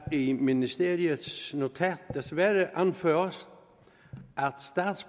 i ministeriets notat desværre anføres